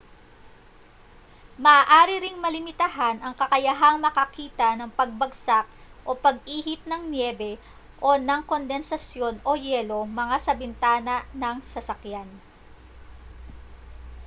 maaari ring malimitahan ang kakayahang makakita ng pagbagsak o pag-ihip ng niyebe o ng kondensasyon o yelo mga sa bintana ng sasakyan